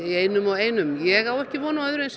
einum og einum ég á ekki von á öðru